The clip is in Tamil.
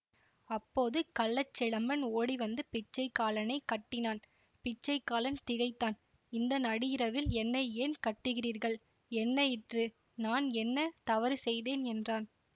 அப்போது கள்ளச்சிலம்பன் ஓடிவந்து பிச்சைக்காலனைக் கட்டினான் பிச்சைக்காலன் திகைத்தான் இந்த நடு இரவில் என்னை ஏன் கட்டுகிறீர்கள் என்ன யிற்று நான் என்ன தவறு செய்தேன் என்றான்